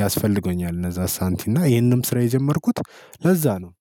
ያስፈልገኛል እነዛ ሳንቲም እና ይሄንም ስራ የጀመርኩት ለዛ ነው።